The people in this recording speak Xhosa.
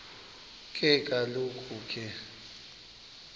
ke kaloku ke